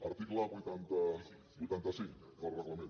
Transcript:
article vuitanta cinc del reglament